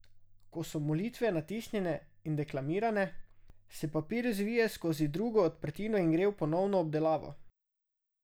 Ko so molitve natisnjene in deklamirane, se papir zvije skozi drugo odprtino in gre v ponovno obdelavo.